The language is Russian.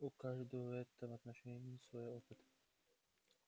у каждого в этом отношении свой опыт